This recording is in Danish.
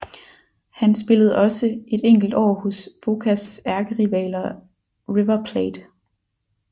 Han spillede også et enkelt år hos Bocas ærkerivaler River Plate